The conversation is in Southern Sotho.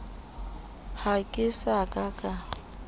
ha ke sa ka ka